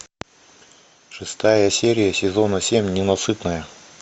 шестая серия сезона семь ненасытная